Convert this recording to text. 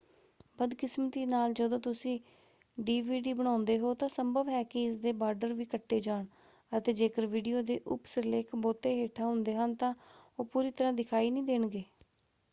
ਬਦਕਿਸਮਤੀ ਨਾਲ ਜਦੋਂ ਤੁਸੀਂ ਡੀਵੀਡੀ ਬਣਾਉਂਦੇ ਹੋ ਤਾਂ ਸੰਭਵ ਹੈ ਕਿ ਇਸਦੇ ਬਾਰਡਰ ਵੀ ਕੱਟੇ ਜਾਣ ਅਤੇ ਜੇਕਰ ਵੀਡੀਓ ਦੇ ਉਪ-ਸਿਰਲੇਖ ਬਹੁਤੇ ਹੇਠਾਂ ਹੁੰਦੇ ਹਨ ਤਾਂ ਉਹ ਪੂਰੀ ਤਰ੍ਹਾ ਦਿਖਾਈ ਨਹੀਂ ਦੇਣਗੇ।